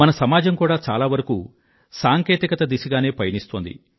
మన సమాజం కూడా చాలా వరకూ సాంకేతికత దిశగానే పయనిస్తోంది